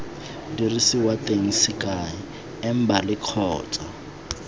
diriswa teng sekai embali kgotsa